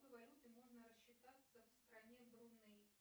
какой валютой можно рассчитаться в стране бруней